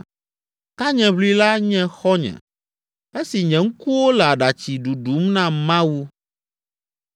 Tanyeʋlila nye xɔ̃nye, esi nye ŋkuwo le aɖatsi ɖuɖum na Mawu.